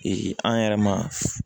an yɛrɛ ma